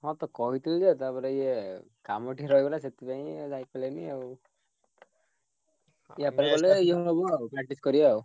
ହଁ କହିଥିଲି ଯେ ତାପରେ ଇଏ କାମ ଟିକେ ରହିଗଲା ସେଥି ପାଇଁ ଆଉ ଯାଇପାରିଲିନି ଆଉ। ଆଉ practice କରିଆ ଆଉ।